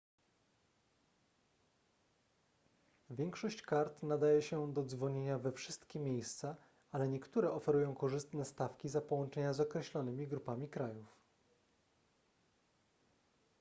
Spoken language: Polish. większość kart nadaje się do dzwonienia we wszystkie miejsca ale niektóre oferują korzystne stawki za połączenia z określonymi grupami krajów